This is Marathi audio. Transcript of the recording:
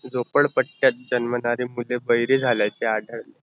झोपळपट्यात जन्माधारी मुले बहिरे झाल्याचे आढळ